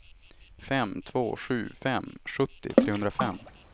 fem två sju fem sjuttio trehundrafem